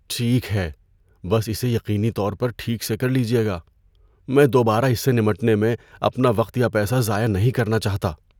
ٹھیک ہے، بس اسے یقینی طور پر ٹھیک سے کر لیجیے گا۔ میں دوبارہ اس سے نمٹنے میں اپنا وقت یا پیسہ ضائع نہیں کرنا چاہتا۔